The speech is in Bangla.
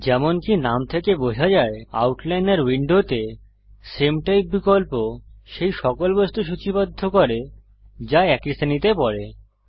যেমনকি নাম থেকে বোঝা যায় আউটলাইনর উইন্ডোতে সামে টাইপ বিকল্প সেই সকল বস্তু সূচীবদ্ধ করে যা একই শ্রেণীতে পরে